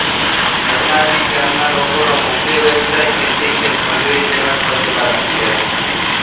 નરણાવી ગામના લોકોનો મુખ્ય વ્યવસાય ખેતી ખેતમજૂરી તેમ જ પશુપાલન છે